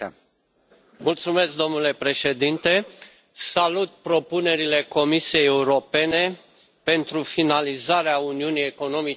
Domnule președinte, salut propunerile Comisiei Europene pentru finalizarea uniunii economice și monetare.